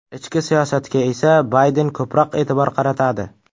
Ichki siyosatga esa Bayden ko‘proq e’tibor qaratadi.